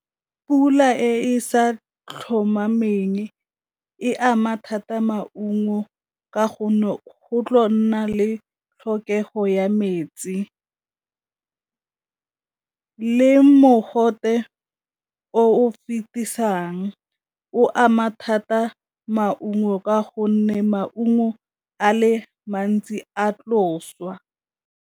Pula e sa tlhomameng e ama thata maungo ka gonne go tla nna le tlhokego ya metsi, le mogote o fetisang o ama thata maungo ka gonne maungo a le mantsi a tlo swa.